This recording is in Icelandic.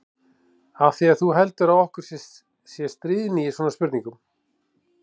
Af því að þú heldur að okkur sé stríðni í svona spurningum.